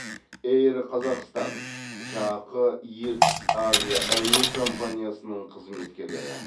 эйр қазақстан жақ ертіс авиа әуе компаниясының қызметкерлері